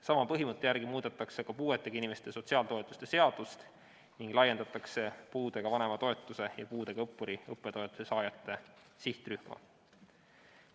Sama põhimõtte järgi muudetakse ka puuetega inimeste sotsiaaltoetuste seadust ning laiendatakse puudega vanema toetuse ja puudega õppuri õppetoetuste saajate sihtrühma.